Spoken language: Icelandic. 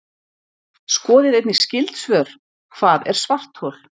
Skoðið einnig skyld svör: Hvað er svarthol?